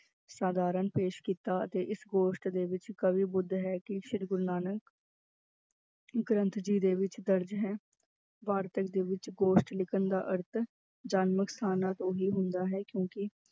ਸਾਧਾਰਨ ਪੇਸ ਕੀਤਾ ਅਤੇ ਇਸ ਗੋਸ਼ਟ ਦੇ ਵਿੱਚ ਕਵੀ ਹੈ ਕਿ ਸ੍ਰੀ ਗੁਰੂ ਨਾਨਕ ਗ੍ਰੰਥ ਜੀ ਦੇ ਵਿੱਚ ਦਰਜ਼ ਹੈ, ਵਾਰਤਕ ਦੇ ਵਿੱਚ ਗੋਸ਼ਟ ਲਿਖਣ ਦਾ ਅਰਥ ਜਨਮ ਸਥਾਨਾਂ ਤੋਂ ਹੀ ਹੁੰਦਾ ਹੈ ਕਿਉਂਕਿ